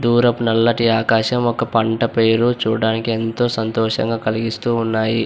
దూరపు నల్లటి ఆకాశం ఒక పంట పేరు చూడడానికి ఎంతో సంతోషంగా కలిగిస్తున్నాయి.